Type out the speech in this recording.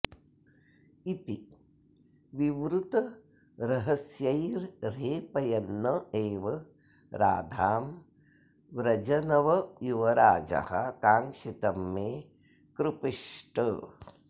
इति विवृतरहस्यैर्ह्रेपयन्न् एव राधां व्रजनवयुवराजः काङ्क्षितं मे कृपीष्ट